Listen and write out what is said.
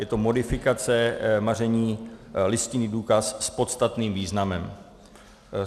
Je to modifikace maření, listinný důkaz s podstatným významem.